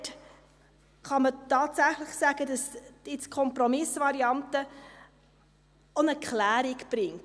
Dort kann man tatsächlich sagen, dass die Kompromissvariante auch eine Klärung bringt.